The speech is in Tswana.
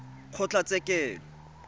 kgotlatshekelo